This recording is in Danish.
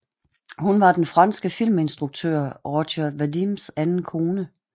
Hun var den franske filminstruktør Roger Vadims anden kone